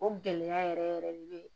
O gɛlɛya yɛrɛ yɛrɛ de be